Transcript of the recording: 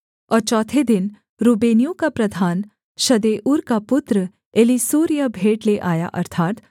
और चौथे दिन रूबेनियों का प्रधान शदेऊर का पुत्र एलीसूर यह भेंट ले आया